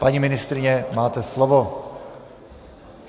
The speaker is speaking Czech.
Paní ministryně, máte slovo.